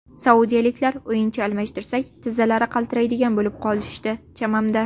Saudiyaliklar o‘yinchi almashtirsak, tizzalari qaltiraydigan bo‘lib qolishdi, chamamda.